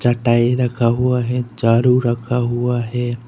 चटाई रखा हुआ है झाड़ू रखा हुआ है।